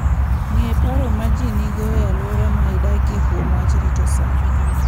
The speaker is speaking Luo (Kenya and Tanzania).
Ng'e paro ma ji nigo e alwora midakie kuom wach rito sa.